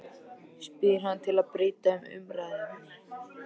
spyr hann til að breyta um umræðuefni.